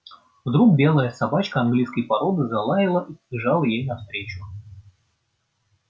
вдруг белая собачка английской породы залаяла и побежала ей навстречу